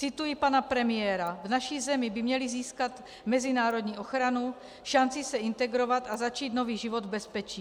Cituji pana premiéra: V naší zemi by měli získat mezinárodní ochranu, šanci se integrovat a začít nový život v bezpečí.